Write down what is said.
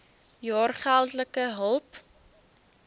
jaar geldelike hulp